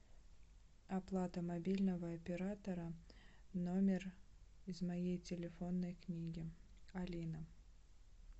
оплата мобильного оператора номер из моей телефонной книги алина